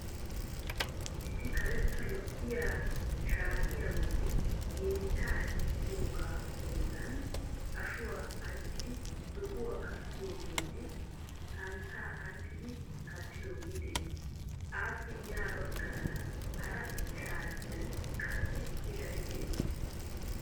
Issi karetta lo"iyaa shaatiya bolli yeechchaa hiixxidoogaa bollan ashuwa anccidi zo"uwan kattidoogeenne santtaa anccidi kattidooge de'ees. Aappe ya baggaara hara shatiyan qassi pilay de'ees.